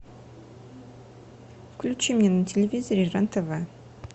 включи мне на телевизоре рен тв